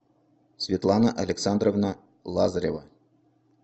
светлана александровна лазарева